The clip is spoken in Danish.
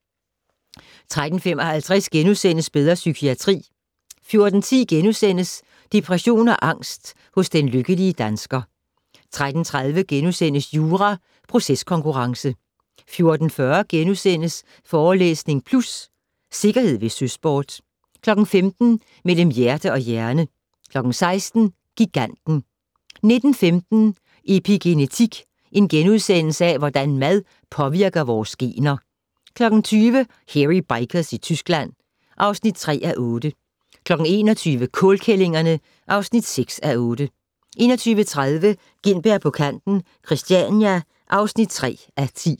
13:55: Bedre psykiatri * 14:10: Depression og angst hos den lykkelige dansker * 14:30: Jura - proceskonkurrence * 14:40: Forelæsning Plus - Sikkerhed ved søsport * 15:00: Mellem hjerte og hjerne 16:00: Giganten 19:15: Epigenetik - hvordan mad påvirker vores gener * 20:00: Hairy Bikers i Tyskland (3:8) 21:00: Kålkællingerne (6:8) 21:30: Gintberg på kanten - Christiania (3:10)